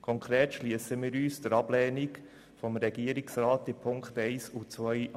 Konkret schliessen wir uns der Ablehnung des Regierungsrats in den Punkten 1 und 2 an.